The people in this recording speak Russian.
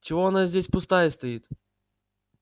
чего она здесь пустая стоит